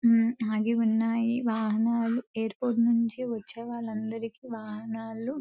ఊ ఆగి ఉన్నాయి వాహనాలు. ఎయిర్ పోర్ట్ నుండి వచ్చే వాళ్ళందరికీ వాహనాలు--